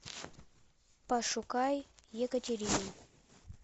пошукай екатерину